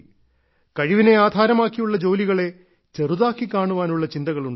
കഴിവിനെ ആധാരമാക്കിയുള്ള ജോലികളെ ചെറുതാക്കി കാണാനുള്ള ചിന്തകൾ ഉണ്ടായി